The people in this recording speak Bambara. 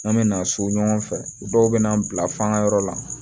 An bɛ na so ɲɔgɔn fɛ dɔw bɛ n'an bila fan wɛrɛ la